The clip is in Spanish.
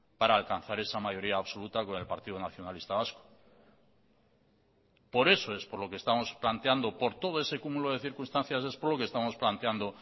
para alcanzar esa mayoría absoluta con el partido nacionalista vasco por eso es por lo que estamos planteando por todo ese cúmulo de circunstancias es por lo que estamos planteando